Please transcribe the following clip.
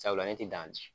Sabula ne ti dan